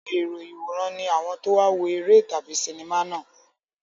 Àwọn èrò ìwòran ni àwọn tó wá wo eré tàbí sinimá náà.